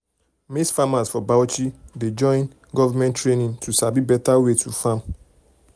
maize farmers for bauchi dey join dey join government training to sabi better way to farm.